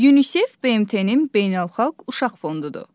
UNICEF BMT-nin Beynəlxalq Uşaq Fondudur.